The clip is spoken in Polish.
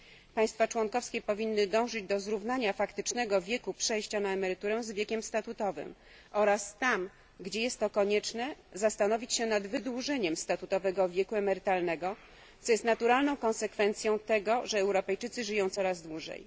Państwa członkowskie powinny dążyć do zrównania faktycznego wieku przejścia na emeryturę z wiekiem statutowym oraz tam, gdzie jest to konieczne, zastanowić się nad wydłużeniem statutowego wieku emerytalnego, co jest naturalną konsekwencją tego, że Europejczycy żyją coraz dłużej.